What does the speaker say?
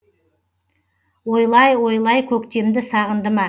ойлай ойлай көктемді сағынды ма